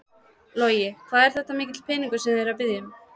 Logi: Hvað er þetta mikill peningur sem þið eruð að biðja um?